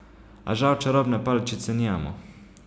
A žal čarobne paličice nimamo.